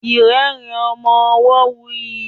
irerin ọmọ ọwo wuyi.